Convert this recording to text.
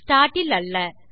start இல் அல்ல